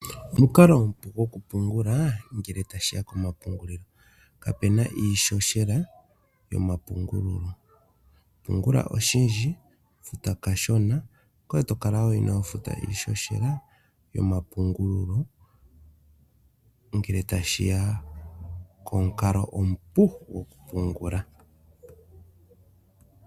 Omukalo omupu gwokupungula ngele tashi ya komapungulilo. Kapu na iihohela yomapungulo. Pungula oshindji, futa kashona, ngoye to kala wo inoo futa iihohela yomapungulo ngele tashi ya komukalo omupu gwokupungula